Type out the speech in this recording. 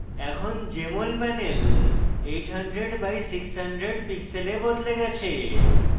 এখন jmol panel 800 by 600 pixels বদলে গেছে